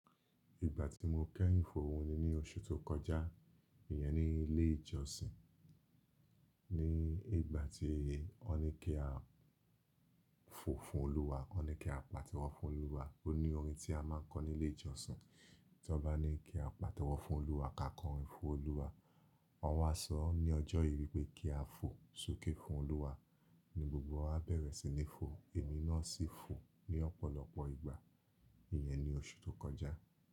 Ìgbà tí mo kẹ́yìn fòhún ni ní oṣù tó kọjá, ìyẹn ni ilé ìjọsìn. Ní ìgbà tí wọ́n ní kí a fò fún Olúwa, wọ́n ní kí a pàtẹ́wọ́ fún Olúwa. Ó ní orin tí a máa ń kọ nílé ìjọsìn tí wọ́n bá ní kí a pàtẹ́wọ́ fún Olúwa ká kọ orin fún Olúwa. Wọ́n wá sọ ní ọjọ́ yi pé kí a fò sókè fún Olúwa, ní gbogbo wa bẹ̀rẹ̀ sí ní fò èmi náà sì fò ní ọ̀pọ̀lọpọ̀ ìgbà. Ìyẹn ni oṣù tó kọjá.